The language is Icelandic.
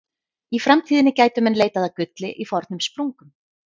Í framtíðinni gætu menn leitað að gulli í fornum sprungum.